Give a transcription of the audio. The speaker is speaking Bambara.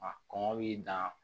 A kɔngɔ b'i dan